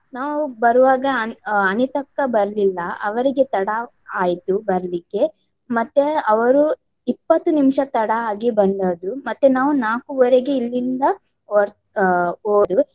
ನಾವು ಬರುವಾಗ ಆನ್~ ಅನಿತಕ್ಕ ಬರ್ಲಿಲ್ಲ. ಅವರಿಗೆ ತಡ ಆಯ್ತು ಬರ್ಲಿಕ್ಕೆ. ಮತ್ತೆ ಅವರು ಇಪ್ಪತ್ತು ನಿಮಿಷ ತಡ ಆಗಿ ಬಂದದ್ದು. ಮತ್ತೆ ನಾವು ನಾಲ್ಕುವರೆಗೆ ಇಲ್ಲಿಂದ ಹೊರ್ ಆಹ್ ಹೋದು.